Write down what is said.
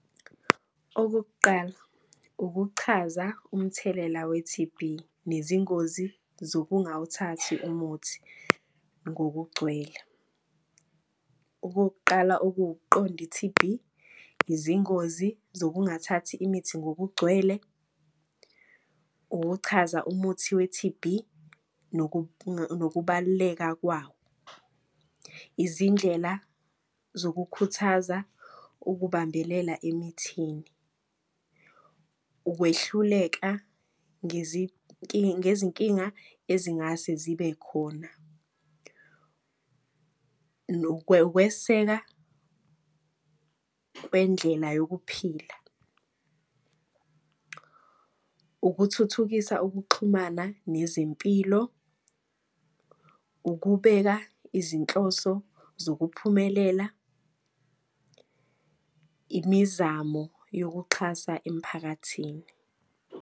Okokuqala ukuchaza umthelela we-T_B nezingozi zokungawuthathi umuthi ngokugcwele. Okokuqala, okuwukuqonda i-T_B, izingozi zokungathathi imithi ngokugcwele, ukuchaza umuthi we-T_B nokubaluleka kwawo. Izindlela zokukhuthaza ukubambelela emithini, ukwehluleka ngezinkinga ezingase zibe khona. Ukweseka kwendlela yokuphila. Ukuthuthukisa ukuxhumana nezempilo, ukubeka izinhloso zokuphumelela. Imizamo yokuxhasa emphakathini.